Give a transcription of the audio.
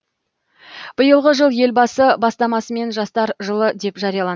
биылғы жыл елбасы бастамасымен жастар жылы деп жарияланды